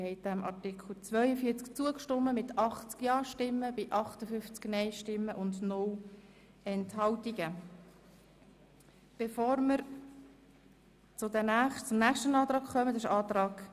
Bevor wir zum nächsten Antrag kommen, möchte ich gerne die Gäste auf der Tribüne begrüssen.